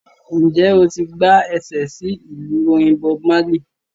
Ǹjẹ́ o ti gbá ẹsẹ̀ sí ìlú orin Bob Marley?